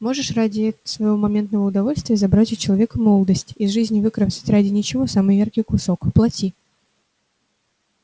можешь ради своего моментного удовольствия забрать у человека молодость из жизни выкромсать ради ничего самый яркий кусок плати